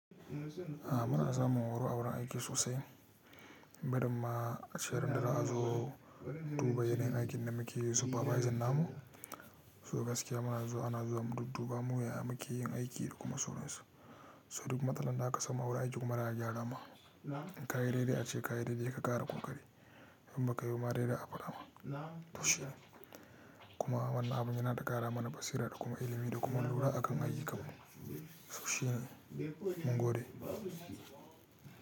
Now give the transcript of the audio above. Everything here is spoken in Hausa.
A muna samu horo a wurin aiki sosai, barin ma ace randa za'azo duba yanayin aikin da muke yi supervisor namu, so gaskiya ma ana zuwa a dubba mu ya muke yin aiki da kuma sauran su. So duk matsalan da aka samu a wurin aiki kuma za gyarama. Kayi daidai ace kayi daidai ka ƙara ƙoƙari. In bakayi bama dai za'a faɗa ma. Kuma wannan abu yana da ƙara mana basira da kuma ilimi da kuma lura akan aiyi kanmu so shi mungode.